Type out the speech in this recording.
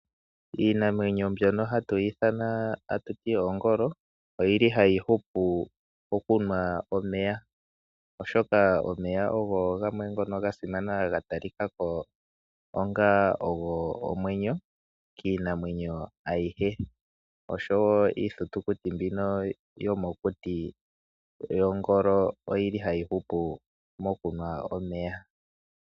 Iinamwenyo mbyono hatu yi ithana tatu ti oongolo ohayi hupu mokunwa omeya, oshoka omeya oga simana noga talika ko onga ogo omwenyo kiinamwenyo ayihe. Iithitukuti mbino yomokuti yongolo ohayi hupu mokunwa omeya.